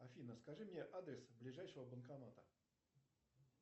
афина скажи мне адрес ближайшего банкомата